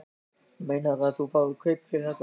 Meinarðu að þú fáir kaup fyrir þetta?